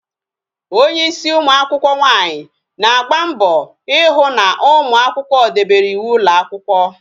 Onye ịsị ụmụakwụkwọ nwaanyi na-agba mbọ ịhụ na ụmụakwụkwọ debere ịwụ ụlọ akwụkwọ